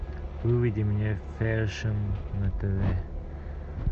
выведи мне фэшн на тв